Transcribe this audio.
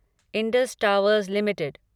Indus Towers limited